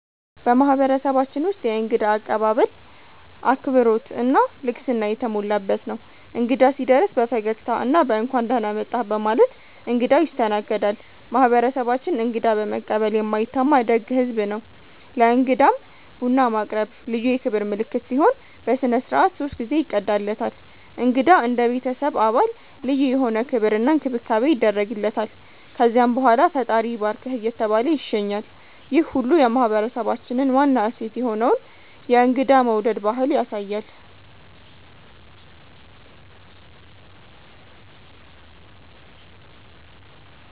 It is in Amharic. በማህበረሰባችን ውስጥ የእንግዳ አቀባበል አክብሮት እና ልግስና የተሞላበት ነው። እንግዳ ሲደርስ በፈገግታ እና በ“እንኳን ደህና መጣህ” በማለት እንግዳው ይስተናገዳል። ማህበረሰባችን እንግዳ በመቀበል የማይታማ ደግ ህዝብ ነው። ለእንግዳም ቡና ማቅረብ ልዩ የክብር ምልክት ሲሆን፣ በሥነ ሥርዓት ሶስት ጊዜ ይቀዳለታል። እንግዳ እንደ ቤተሰብ አባል ልዩ የሆነ ክብር እና እንክብካቤ ይደረግለታል። ከዛም በኋላ “ፈጣሪ ይባርክህ” እየተባለ ይሸኛል፣ ይህ ሁሉ የማህበረሰባችንን ዋና እሴት የሆነውን የእንግዳ መውደድ ባህል ያሳያል።